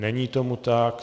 Není tomu tak.